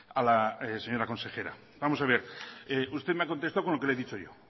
a la señora consejera vamos a ver usted me ha contestado con lo que le he dicho yo